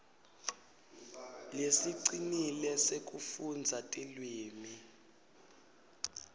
lesicinile sekufundza tilwimi